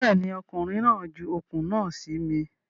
Bẹ́ẹ̀ ni, ọkùnrin náà ju okùn náà sí mi.